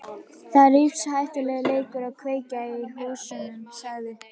Það er lífshættulegur leikur að kveikja í húsum sagði